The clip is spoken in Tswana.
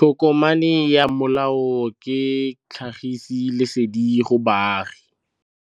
Tokomane ya molao ke tlhagisi lesedi go baagi.